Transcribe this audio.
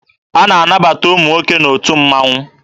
A na-anabata ụmụ nwoke n'otu mmaṅụ.